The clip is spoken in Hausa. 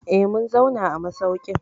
Eh, mun zauna a masaukin.